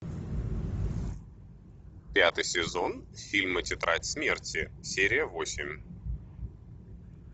пятый сезон фильма тетрадь смерти серия восемь